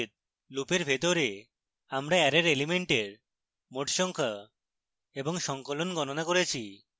লুপের ভিতরে আমরা অ্যারের elements মোট সংখ্যা এবং সঙ্কলন গণনা করেছি